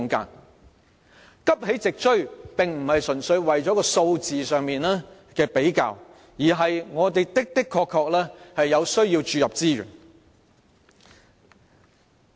要急起直追，並非純粹是數字上的比較，而是我們確實有需要注入資源。